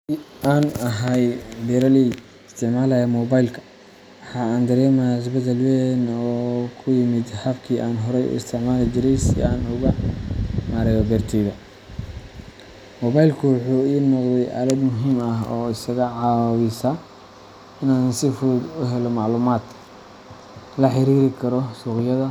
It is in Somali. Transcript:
Haddii aan ahay beraley isticmaalaya moobaylka, waxa aan dareemayaa isbeddel weyn oo ku yimid habkii aan horay u isticmaali jiray si aan u maareeyo beertayda. Moobaylku wuxuu ii noqday aalad muhiim ah oo iga caawisa inaan si fudud u helo macluumaad, la xiriiri karo suuqyada,